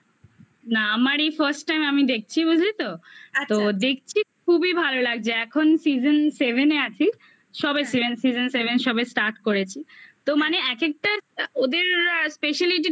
না আমার এই first time আমি দেখছি বুঝলি তো? আচ্ছা আচ্ছা তো দেখছি খুবই ভালো লাগছে এখন season seven -এ আছি সবাই season seven সবে start করেছি তো মানে এক একটা ওদের speciality টা